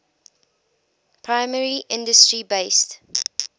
primary industry based